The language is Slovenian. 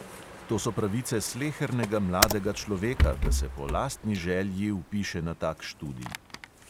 To so pravice slehernega mladega človeka, da se po lastni želji vpiše na tak študij.